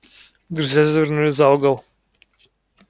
друзья завернули за угол